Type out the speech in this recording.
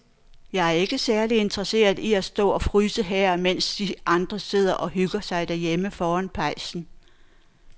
Jeg er ikke særlig interesseret i at stå og fryse her, mens de andre sidder og hygger sig derhjemme foran pejsen.